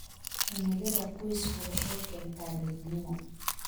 Himilada qoysku waxay keentaa midnimo.